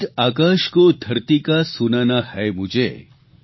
ગીત આકાશ કો ધરતી કા સુનાના હે મુઝે